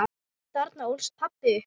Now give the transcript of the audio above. Þarna ólst pabbi upp.